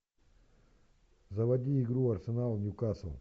заводи игру арсенал ньюкасл